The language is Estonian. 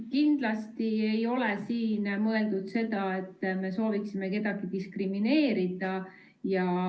Kindlasti ei ole siin mõeldud seda, et me sooviksime kedagi diskrimineerida.